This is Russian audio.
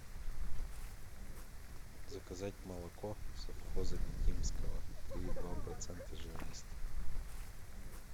заказать молоко совхоза бикинского три и два процента жирности